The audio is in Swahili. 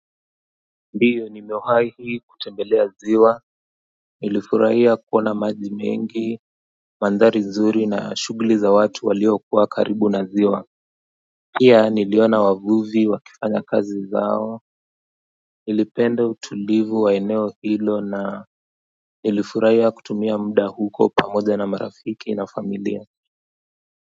Ndiyo nimewhai kutembelea ziwa nilifurahia kuona maji mengi mandhari nzuri na shugli za watu waliokuwa karibu na ziwa pia niliona wavuvi wakifanya kazi zao nilipende utulivu wa eneo hilo na nilifurahia kutumia muda huko pamoja na marafiki na familia.